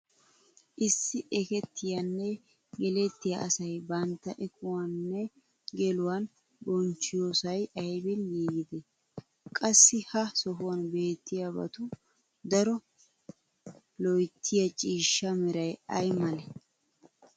Issi ekettiyaanne gellettiya asay bantta ekuwaninne geluwan bonchchiyoosay aybin giigidee? Qassi ha sohuwan beettiybatu daro loyttiya ciishsaa meray ay malee?